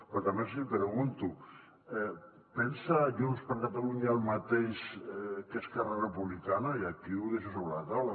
però també els hi pregunto pensa junts per catalunya el mateix que esquerra republicana i aquí ho deixo sobre la taula